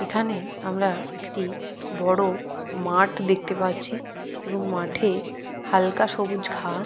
এখানে আমরা একটি বড় মাঠ দেখতে পাচ্ছি এবং মাঠে হালকা সবুজ ঘা--